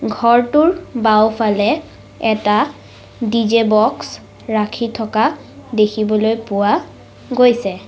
ঘৰটোৰ বাওঁফালে এটা ডি_জে বক্স ৰাখি থকা দেখিবলৈ পোৱা গৈছে।